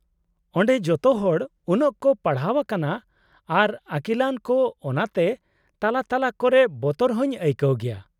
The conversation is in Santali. -ᱚᱸᱰᱮ ᱡᱚᱛᱚ ᱦᱚᱲ ᱩᱱᱟᱹᱜ ᱠᱚ ᱯᱟᱲᱦᱟᱣ ᱟᱠᱟᱱᱟ, ᱟᱨ ᱟᱠᱤᱞᱟᱱ ᱠᱚ ᱚᱱᱟ ᱛᱮ ᱛᱟᱞᱟ ᱛᱟᱞᱟ ᱠᱚᱨᱮ ᱵᱚᱛᱚᱨ ᱦᱚᱸᱧ ᱟᱹᱭᱠᱟᱹᱣ ᱜᱮᱭᱟ ᱾